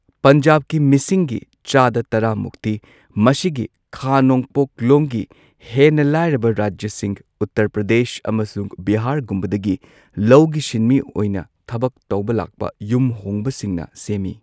ꯄꯟꯖꯥꯕꯀꯤ ꯃꯤꯁꯤꯡꯒꯤ ꯆꯥꯗꯥ ꯇꯔꯥ ꯃꯨꯛꯇꯤ ꯃꯁꯤꯒꯤ ꯈꯥ ꯅꯣꯡꯄꯣꯛꯂꯣꯝꯒꯤ ꯍꯦꯟꯅ ꯂꯥꯏꯔꯕ ꯔꯥꯖ꯭ꯌꯁꯤꯡ , ꯎꯠꯇꯔ ꯄ꯭ꯔꯗꯦꯁ ꯑꯃꯁꯨꯡ ꯕꯤꯍꯥꯔꯒꯨꯝꯕꯗꯒꯤ ꯂꯧꯒꯤ ꯁꯤꯟꯃꯤ ꯑꯣꯏꯅ ꯊꯕꯛ ꯇꯧꯕ ꯂꯥꯛꯄ ꯌꯨꯝ ꯍꯣꯡꯕ ꯁꯤꯡꯅ ꯁꯦꯝꯃꯤ꯫